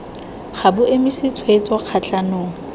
ga bo emise tshwetso kgatlhanong